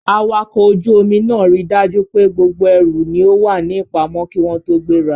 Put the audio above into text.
Awakọ̀ ojú omi náà ríi dájú pé gbogbo ẹrù ni ó wà ní ìpamọ́ kí wọ́n tó gbéra.